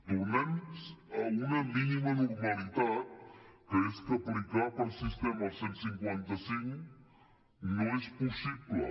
tornem a una mínima normalitat que és que aplicar per sistema el cent i cinquanta cinc no és possible